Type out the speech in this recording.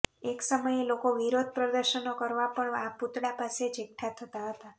એક સમયે લોકો વિરોધ પ્રદર્શનો કરવા પણ આ પૂતળા પાસે જ એકઠા થતા હતા